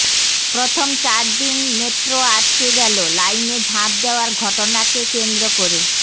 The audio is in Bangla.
প্রথম চার দিন মেট্রো আটকে গেল লাইনে ঝাঁপ দেওয়ার ঘটনাকে কেন্দ্র